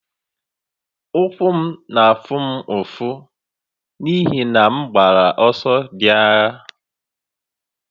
Ụkwụ m na-afụ m ụfụ n'ihi na m gbara ọsọ dị anya